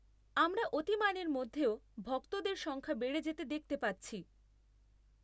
আমরা অতিমারির মধ্যেও ভক্তদের সংখ্যা বেড়ে যেতে দেখতে পাচ্ছি।